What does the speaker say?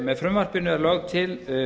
með frumvarpinu er lögð til